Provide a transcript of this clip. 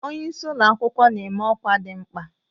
Onye isi ụlọ akwụkwọ na-eme ọkwa dị mkpa.